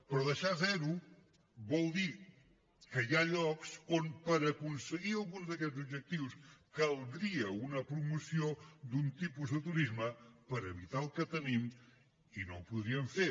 però deixar a zero vol dir que hi ha llocs on per aconseguir algun d’aquests objectius caldria una promoció d’un tipus de turisme per evitar el que tenim i no ho podríem fer